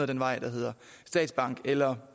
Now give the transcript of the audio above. den vej der hedder statsbank eller